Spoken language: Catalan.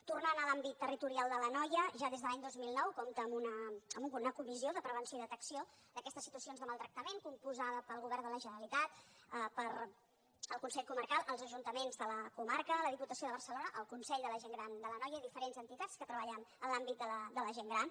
tornant a l’àmbit territorial de l’anoia ja des de l’any dos mil nou compta amb una comissió de prevenció i detecció d’aquestes situacions de maltractament composta pel govern de la generalitat pel consell comarcal els ajuntaments de la comarca la diputació de barcelona el consell de la gent gran de l’anoia diferents entitats que treballen en l’àmbit de la gent gran